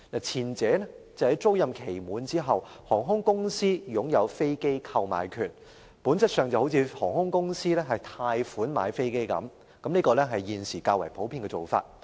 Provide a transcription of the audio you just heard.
前者是在飛機租賃期屆滿後，航空公司便擁有飛機購買權，本質上就像由航空公司以分期付款方式購買飛機般，這是現時較普遍的做法。